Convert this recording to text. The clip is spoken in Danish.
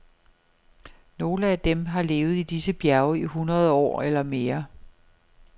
Nogle af dem har levet i disse bjerge i hundrede år eller mere.